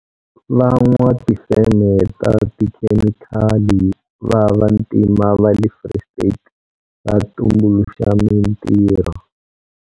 Van'watifeme ta tikhemikali va vantima va le Free State va tumbuluxa mitirho.